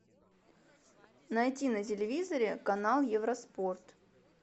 найди на телевизоре канал евроспорт